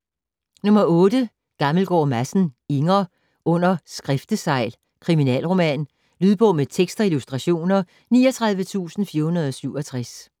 Gammelgaard Madsen, Inger: Under skriftesegl: kriminalroman Lydbog med tekst og illustrationer 39467